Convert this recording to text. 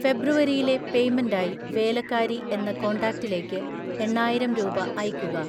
ഫെബ്രുവരിയിലെ പേയ്‌മെന്റായി വേലക്കാരി എന്ന കോണ്ടാക്ടിലേക്ക് എണ്ണായിരം രൂപ അയയ്‌ക്കുക.